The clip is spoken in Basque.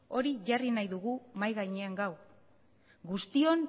hori jarri nahi dugu mahia gainean gaur guztion